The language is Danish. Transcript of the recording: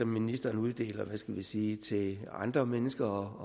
ministeren uddeler hvad skal vi sige midler til andre mennesker